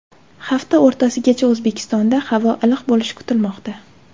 Hafta o‘rtasigacha O‘zbekistonda havo iliq bo‘lishi kutilmoqda.